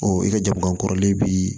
i ka jama kɔrɔlen bi